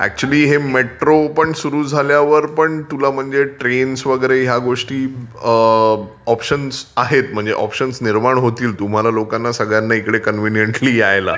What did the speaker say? Actually हे metro पण सुरू झाल्यावर पण तुला ट्रेन्स वगैरे या गोष्टी ऑप्शन्स आहेत म्हणजे ऑप्शन्स निर्माण होतील तुम्हाला लोकांना सगळ्यांना इकडे कन्व्हिंनियंटली यायला.